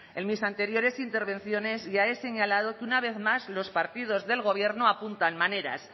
en mis anteriores intervenciones ya he señalado que una vez más los partidos del gobierno apuntan maneras